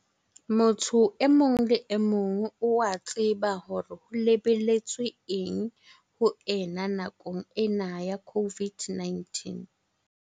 Motho e mong le emong o a tseba hore ho lebelletswe eng ho ena nakong ena ya COVID-19.